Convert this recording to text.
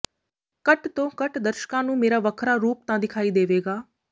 ਘੱਟ ਤੋਂ ਘੱਟ ਦਰਸ਼ਕਾਂ ਨੂੰ ਮੇਰਾ ਵੱਖਰਾ ਰੂਪ ਤਾਂ ਦਿਖਾਈ ਦੇਵੇਗਾ